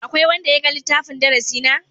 Akwai wanda ya ga littafin darasi na?